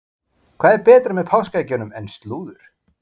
Hvað er betra með páskaeggjunum en slúður?